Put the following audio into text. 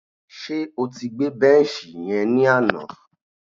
Ṣé o ti gbé bẹ́nṣì yẹn ni àná?